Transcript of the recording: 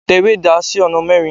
tẹ ìwé ẹda sí oná mẹrin